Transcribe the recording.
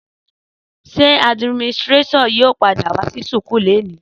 Sẹ àdiminitirato yio pàdá wà sí súkù lẹní?